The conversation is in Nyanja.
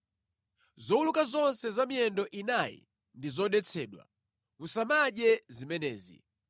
Zowuluka zonse za miyendo inayi ndi zodetsedwa. Musamadye zimenezi.